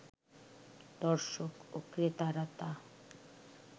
দর্শক ও ক্রেতারা তা